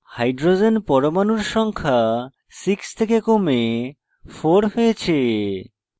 hydrogen পরমাণুর সংখ্যা 6 থেকে কমে 4 হয়েছে